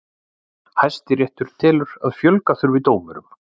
Hæstiréttur telur að fjölga þurfi dómurum